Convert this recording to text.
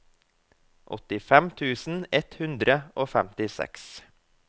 åttifem tusen ett hundre og femtiseks